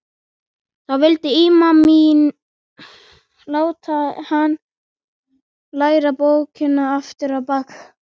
Þá vildi ímaminn láta hann læra bókina aftur á bak.